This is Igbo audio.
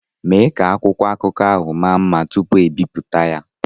Mee ka akwụkwọ akụkọ ahụ maa mma tupu ebibuta ya!